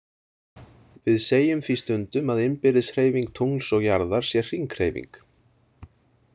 Við segjum því stundum að innbyrðis hreyfing tungls og jarðar sé hringhreyfing.